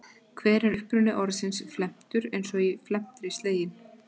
Hver er uppruni orðsins felmtur eins og í felmtri sleginn?